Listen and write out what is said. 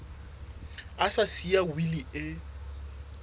a sa siya wili e